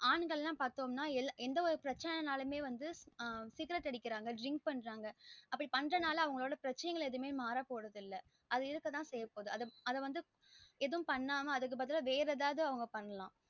ஆண்கள்லாம் பாத்தோம்ன எந்த ஒரு பிரசன்ன நா பாதிங்கனா சிகரட் அடிக்கிறாங்க drink பண்றாங்க அவங்களோட பிரச்சனை ஆ மாற போறதுஇல்ல அது இருக்க தா செய்யபோது அது வந்து ஏதும் பண்ணாம அதுக்கு பதில வேற ஒரு எதாவது பண்லாம்